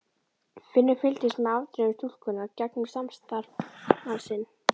Finnur fylgdist með afdrifum stúlkunnar gegnum samstarfsmann sinn.